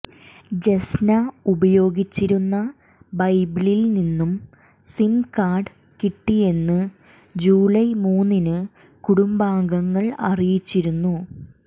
ജെസ്ന ഉപയോഗിച്ചിരുന്ന ബൈബിളിൽ നിന്നു സിംകാർഡ് കിട്ടിയെന്ന് ജൂലൈ മൂന്നിനു കുടുംബാംഗങ്ങൾ അറിയിച്ചിരുന്നു